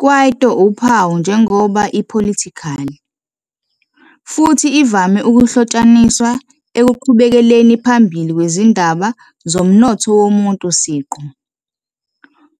Kwaito uphawu njengoba apolitical, futhi ivame ukuhlotshaniswa ekuqhubekeleni phambili kwezindaba umnotho womuntu siqu,